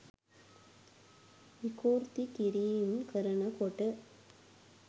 විකෘති කිරීම් කරනකොට